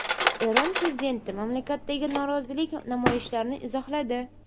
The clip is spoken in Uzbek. Eron prezidenti mamlakatdagi norozilik namoyishlarini izohladi.